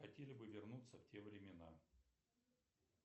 хотели бы вернуться в те времена